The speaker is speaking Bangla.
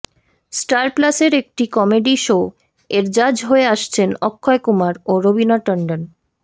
স্টার প্লাস এর একটি কমেডি শো এর জাজ হয়ে আসছেন অক্ষয় কুমার ও রবিনা টন্ডন